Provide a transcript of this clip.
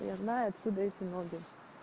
я знаю откуда эти ноги